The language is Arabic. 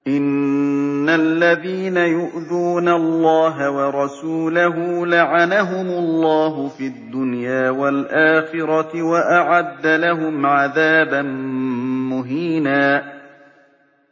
إِنَّ الَّذِينَ يُؤْذُونَ اللَّهَ وَرَسُولَهُ لَعَنَهُمُ اللَّهُ فِي الدُّنْيَا وَالْآخِرَةِ وَأَعَدَّ لَهُمْ عَذَابًا مُّهِينًا